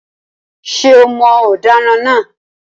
Ṣé o mọ ọ̀daràn náà?